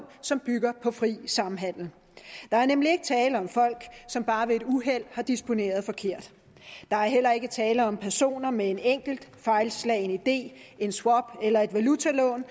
som bygger på fri samhandel der er nemlig ikke tale om folk som bare ved et uheld har disponeret forkert der er heller ikke tale om personer med en enkelt fejlslagen idé en swap eller et valutalån